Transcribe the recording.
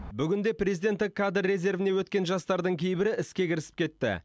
бүгінде президенттік кадр резервіне өткен жастардың кейбірі іске кірісіп кетті